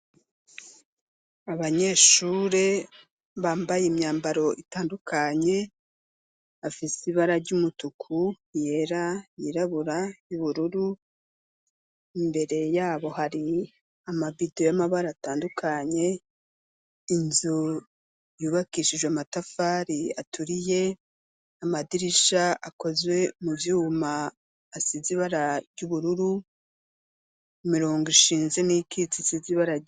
Abanyeshuri Bambaye imyambaro itandukanye afise ibara ryumutuku yera yiraburabura ,iyubururu, mbere yabo hari amabido yamabara atandukanye Inzu yubakishijwe amatafari aturiye amadirisha akoze muvyuma asize ibara y'ubururu imirongo ishinze nikitse isize ibara ryera.